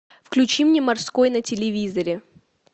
включи мне морской на телевизоре